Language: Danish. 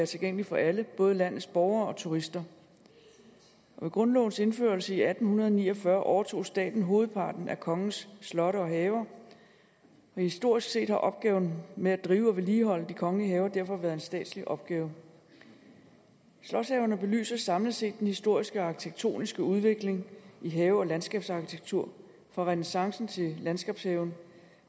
tilgængelig for alle både landets borgere og turister med grundlovens indførelse i atten ni og fyrre overtog staten hovedparten af kongens slotte og haver og historisk set har opgaven med at drive og vedligeholde de kongelige haver derfor været en statslig opgave slotshaverne belyser samlet set den historiske arkitektoniske udvikling i have og landskabsarkitektur fra renæssancen til landskabshaven